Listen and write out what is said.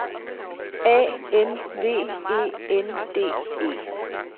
A N V E N D E